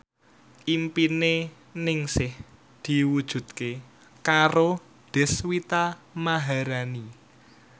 impine Ningsih diwujudke karo Deswita Maharani